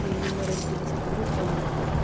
и мы разбились по группам